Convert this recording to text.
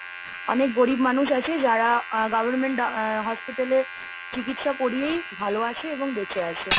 অনেক গরীব মানুষ আছে যারা government আহ hospital এ চিকিৎসা করিয়েই ভালো আছে এবং বেঁচে আছে।